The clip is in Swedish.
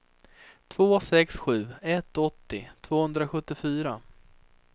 två sex sju ett åttio tvåhundrasjuttiofyra